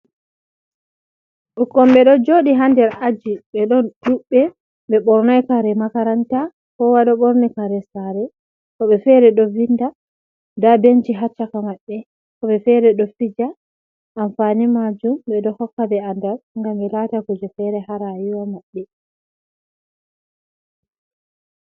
Ɓokkoi ɓe ɗo jooɗi ha nder aji, ɓe ɗon ɗuɓɓe ɓe ɓornai kare makaranta kowa ɗo ɓorni kare sare, woɓɓe feere ɗo vinda nda benchi ha caka maɓɓe, woɓɓe feere ɗo fija amfani majum ɓe ɗo hokka ɓe andal ngam ɓe laata kuje feere ha rayuwa maɓɓe.